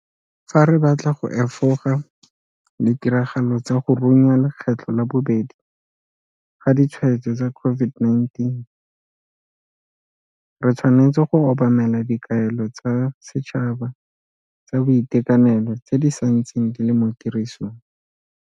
Fa re batla go efoga ditiragalo tsa go runya lekgetlo la bobedi ga ditshwaetso tsa COVID-19, re tshwanetse go obamela dikaelo tsa setšhaba tsa boitekanelo tse di sa ntseng di le mo tirisong.